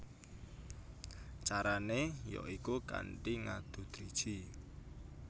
Carané ya iku kanthi ngadu driji